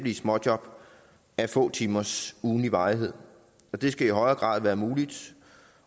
i småjob af få timers ugentlig varighed og det skal i højere grad være muligt